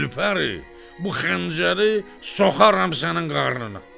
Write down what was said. Gülfəri, bu xəncəri soxaram sənin qarnına.